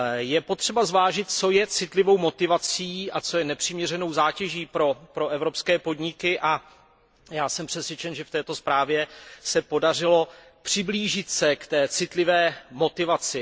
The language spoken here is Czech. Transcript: Je potřeba zvážit, co je citlivou motivací a co je nepřiměřenou zátěží pro evropské podniky, a já jsem přesvědčen, že v této zprávě se podařilo přiblížit se k citlivé motivaci.